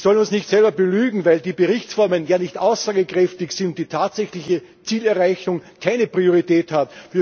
Wir sollen uns nicht selber belügen, weil die Berichtsformen ja nicht aussagekräftig sind, die tatsächliche Zielerreichung keine Priorität hat.